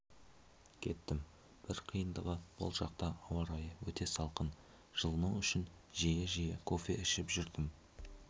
кеттім бір қиындығы бұл жақта ауа райы өте салқын жылыну үшін жиі-жиі кофе ішіп жүрдім